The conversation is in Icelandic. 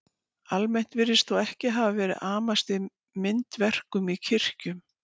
Almennt virðist þó ekki hafa verið amast við myndverkum í kirkjum.